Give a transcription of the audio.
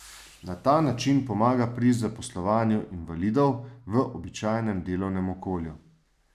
Na ta način pomaga pri zaposlovanju invalidov v običajnem delovnem okolju.